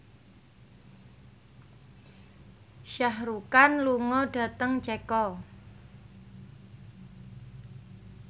Shah Rukh Khan lunga dhateng Ceko